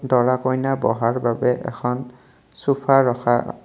দৰা কইনা বহাৰ বাবে এখন চুফা ৰখা--